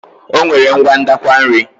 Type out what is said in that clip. O nwere ngwa ndakwa nri.